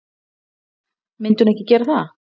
Myndi hún ekki gera það?